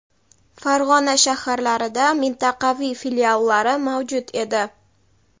Farg‘ona shaharlarida mintaqaviy filiallari mavjud edi.